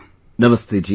Namaste ji